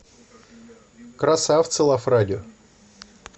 красавцы лав радио